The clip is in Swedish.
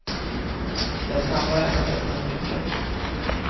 Det är snabbare än att öppna med nyckeln.